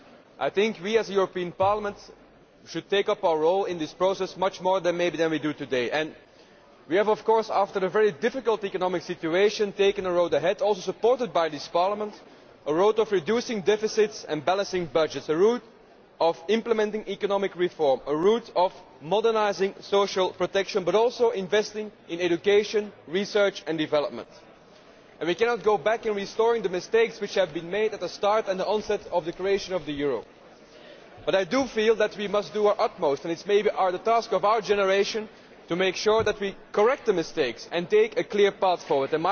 I think that we, as the European Parliament, should take up our role in this process much more maybe than we do today. We have of course, after the very difficult economic situation, taken a road ahead, also supported by this Parliament a road of reducing deficits and balancing budgets a road of implementing economic reform a road of modernising social protection but also a road of investing in education, research and development. We cannot go back and restore the mistakes which were made at the start and the onset of the creation of the euro. But I do feel that we must do our utmost and maybe it is the task of our generation to make sure that we correct the mistakes and take a clear path forward.